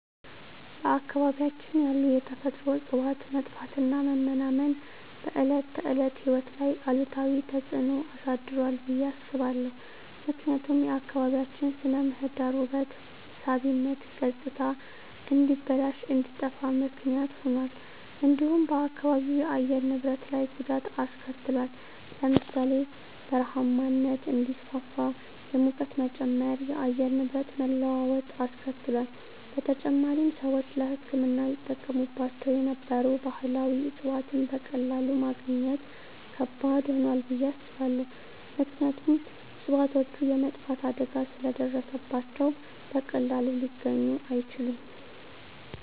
በአካባቢያችን ያሉ የተፈጥሮ እፅዋት መጥፋትና መመናመን በዕለት ተዕለት ሕይወት ላይ አሉታዊ ተጽዕኖ አሳድሯል ብየ አስባለሁ። ምክንያቱም የአካባቢያችን ስነ ምህዳር ውበት ሳቢነት ገፅታ እንዲበላሽ እንዲጠፋ ምክንያት ሁኗል። እንዲሁም በአካባቢው የአየር ንብረት ላይ ጉዳት አሰከትሏል ለምሳሌ ( በረሃማነት እንዲስፋፋ፣ የሙቀት መጨመር፣ የአየር ንብረት መለዋወጥ አስከትሏል። በተጨማሪም፣ ሰዎች ለሕክምና ይጠቀሙባቸው የነበሩ ባህላዊ እፅዋትን በቀላሉ ማግኘት ከባድ ሆኗል ብየ አስባለሁ። ምክንያቱም እፅዋቶቹ የመጥፋት አደጋ ስለ ደረሰባቸው በቀላሉ ሊገኙ አይችሉም።